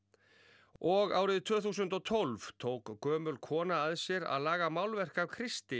og árið tvö þúsund og tólf tók gömul kona að sér að laga málverk af Kristi